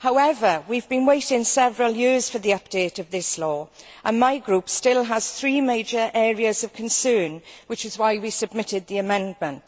However, we have been waiting several years for the update of this law, and my group still has three major areas of concern, which is why we submitted the amendments.